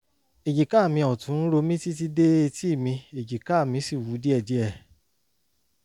èjìká mi ọ̀tún ń ro mí títí dé etí mi èjìká mi sì wú díẹ̀díẹ̀